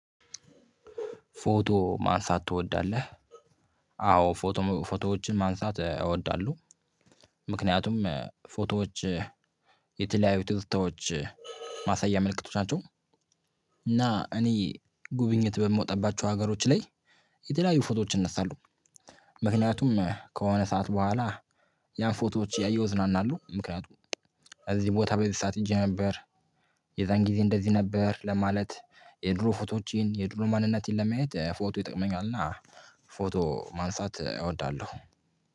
"ፎቶ ማንሳት ትወዳለህ?" አዎ ፎቶ ፎቶዎችን ማንሳት እወዳለሁ። ምክንያቱም ፎቶዎች የተለያዩ ትዝታዎች ማሳያ ምልክቶች ናቸው፤ እና እኔ ጉብኝት በምወጣባቸው ሀገሮች ላይ የተለያዩ ፎቶዎች እነሳለሁ። ምክንያቱም ከሆነ ሰዓት በኋላ ያ ፎቶዎች እያየሁ እዝናናለሁ ምክንያቱም እዚህ ቦታ በዚህ ሰዓት ሂጄ ነበር። የዛን ጊዜ እንደዚህ ነበር ለማለት የድሮ ፎቶዎቼን የድሮ ማንነቴን ለማየት ፎቶ ይጠቅመኛል፤ እና ፎቶ ማንሳት እወዳለሁ።